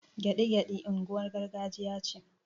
Gyaɗi-gyaɗi unguwar gargajiya ce